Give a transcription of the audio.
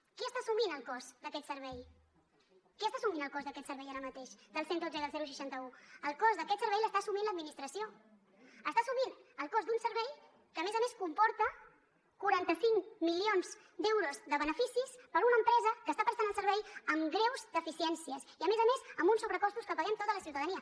qui està assumint el cost d’aquest servei qui està assumint el cost d’aquest servei ara mateix del cent i dotze i del seixanta un el cost d’aquest servei l’està assumint l’administració està assumint el cost d’un servei que a més a més comporta quaranta cinc milions d’euros de beneficis per a una empresa que està prestant el servei amb greus deficiències i a més a més amb uns sobrecostos que paguem tota la ciutadania